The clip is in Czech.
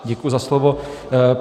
Děkuji za slovo.